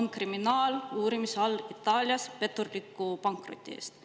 on kriminaaluurimise all Itaalias petturliku pankroti eest.